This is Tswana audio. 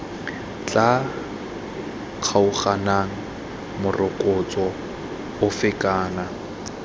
tla kgaoganang morokotso ofe kana